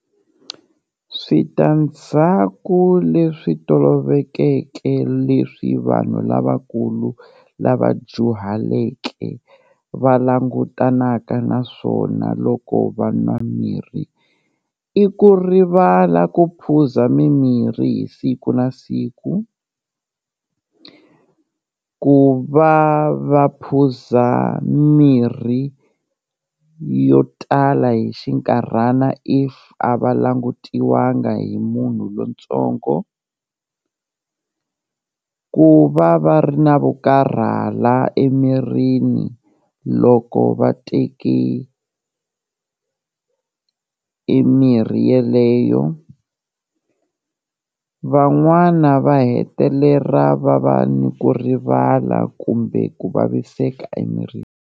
Switandzhaku leswi tolovelekeke leswi vanhu lavakulu lava dyuhaleke va langutanaka na swona loko va nwa mirhi, i ku rivala ku phuza mimirhi hi siku na siku, ku va va phuza mirhi yo tala hi xinkarhana if a va langutiwanga hi munhu lontsongo, ku va va ri na vo karhala emirini loko va teke e mirhi yeleyo van'wana va hetelela va va ni ku rivala kumbe ku vaviseka emirini.